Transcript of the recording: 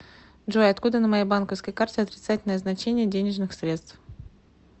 джой откуда на моей банковской карте отрицательное значение денежных средств